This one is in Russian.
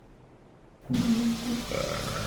кузнецку